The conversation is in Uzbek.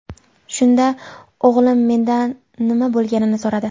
Shunda o‘g‘lim mendan nima bo‘lganini so‘radi.